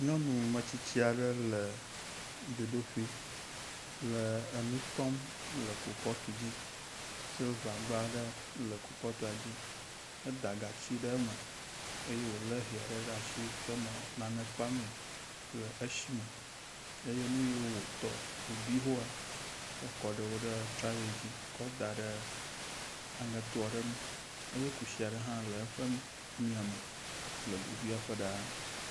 Nyɔnumetsitsi aɖe le dzodoƒi le enu tɔm le kupɔti dzi. Silivagba aɖe le kupɔtia dzi. Eda gatsi ɖe eme eye wolé hɛ aɖe ɖe asi kɔ nɔ nane kpam le esime eye nu yiwo wotɔ wobi hoa ekɔ ɖewo ɖe traye dzi kɔ da ɖe aŋeto aɖe ŋu eye kusi aɖe hã le eƒe miame le globiaƒe ɖaa.